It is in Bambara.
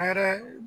A yɛrɛ